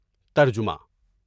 (ترجمہ)